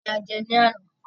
Iyán ni a jẹ́ ní àná